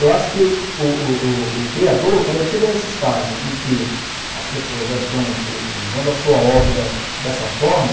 Eu acho que o o o criador, quando ele chega nesse estágio em que as pessoas já estão u usando a sua obra dessa forma,